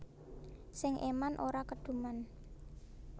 Sing eman ora keduman